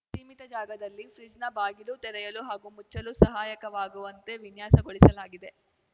ಸೀಮಿತ ಜಾಗದಲ್ಲಿ ಫ್ರಿಡ್ಜ್‌ನ ಬಾಗಿಲು ತೆರೆಯಲು ಹಾಗೂ ಮುಚ್ಚಲು ಸಹಾಯಕವಾಗುವಂತೆ ವಿನ್ಯಾಸಗೊಳಿಸಲಾಗಿದೆ